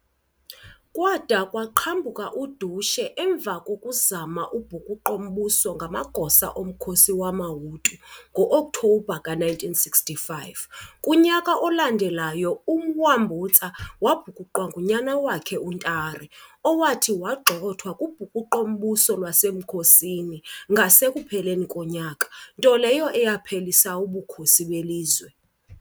Kwada kwaqhambuka udushe emva kokuzama ubhukuqo-mbuso ngamagosa omkhosi wamaHutu ngo-Okthobha ka-1965. Kunyaka olandelayo uMwambutsa wabhukuqwa ngunyana wakhe uNtare V, owathi wagxothwa kubhukuqo-mbuso lwasemkhosini ngasekupheleni konyaka, nto leyo eyaphelisa ubukhosi belizwe.